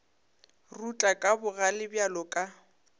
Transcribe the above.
rutla ka bogale bjalo ka